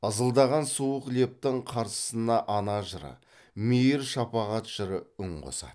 ызылдаған суық лептің қарсысына ана жыры мейір шапағат жыры үн қосады